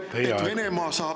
Teie aeg!